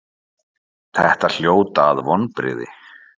Þetta hljóta að vonbrigði?